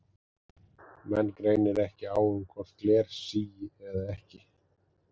Menn greinir ekki á um hvort gler sígi eða ekki.